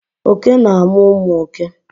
oke na amu umu òké